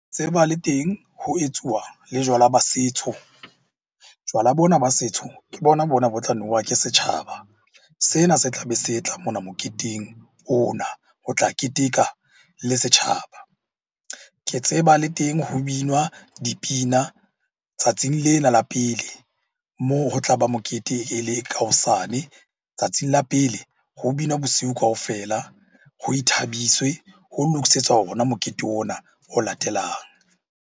Le teng ho etsuwa le jwala ba setso. Jwala bona ba setso, ke bona-bona bo tla nowa ke setjhaba. Sena se tla be se mona moketeng ona ho tla keteka le setjhaba. Ke tseba le teng ho binwa dipina tsatsing lena la pele, moo ho tla ba mokete e le ka hosane. Tsatsing la pele ho binwa bosiu kaofela, ho ithabiswe ho lokisetswa ona mokete ona o latelang.